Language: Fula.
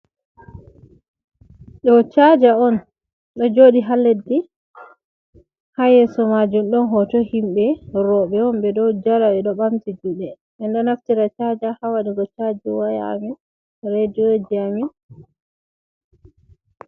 Ɗo chaja on ɗo joɗi ha leddi ha yeso majun ɗon hoto himɓe robe on ɓeɗow jala ɓeɗo ɓamti juɗe, en ɗo naftira chaja ha waɗugo chaji wayaji Amin.